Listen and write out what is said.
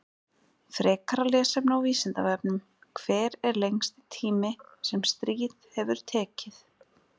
Frekara lesefni á Vísindavefnum: Hver er lengsti tími sem stríð hefur tekið?